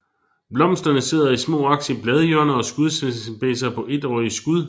Blomsterne sidder i små aks i bladhjørner og skudspidser på étårige skud